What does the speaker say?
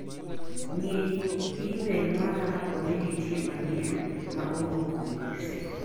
Ng'i imel mara kaponi nitie manyien ma owuok kuom Joseph.